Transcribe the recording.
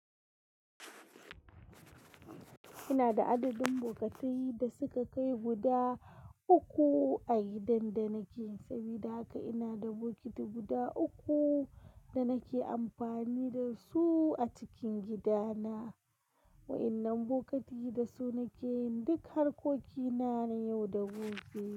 Ina da adadin bokatai da suka kai guda uku a gidan da nake. Sabida haka ina da bokiti guda uku da nake amfani da su a cikin gidana. Wa'innan bokatai da su nake yin duk harkokina na yau da gobe.